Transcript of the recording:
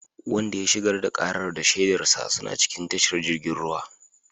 Wanda ya shigar da karar da shaidarsa suna cikin tashar jirgin ruwa